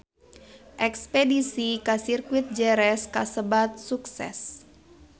Espedisi ka Sirkuit Jerez kasebat sukses